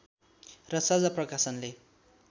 र साझा प्रकाशनले